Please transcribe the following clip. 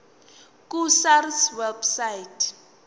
ku sars website